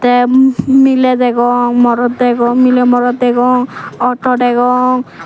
te mi miley degong morot degong miley morot degong auto degong.